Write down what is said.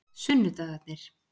sunnudagarnir